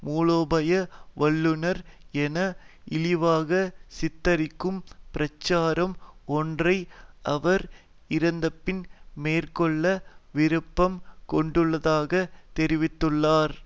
மூலோபாய வல்லுநர் என இழிவாக சித்தரிக்கும் பிரச்சாரம் ஒன்றை அவர் இறந்தபின் மேற்கொள்ள விருப்பம் கொண்டுள்ளதாக தெரிவித்துள்ளார்